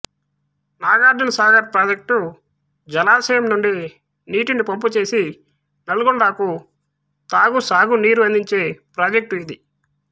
Nagarjunasagar project జలాశయం నుండి నీటిని పంపుచేసి నల్గొండకు తాగు సాగునీరు అందించే ప్రాజెక్టు ఇది